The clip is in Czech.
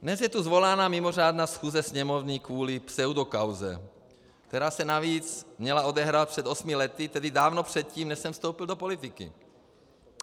Dnes je tu svolána mimořádná schůze Sněmovny kvůli pseudokauze, která se navíc měla odehrát přes osmi lety, tedy dávno předtím, než jsem vstoupil do politiky.